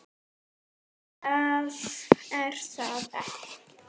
Nei, það er það ekki.